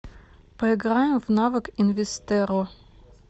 поиграем в навык инвестерро